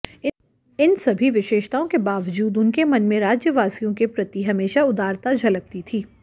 इन सभी विशेषताओं के वाबजूद उनके मन में राज्यवासियों के प्रति हमेशा उदारता झलकती थी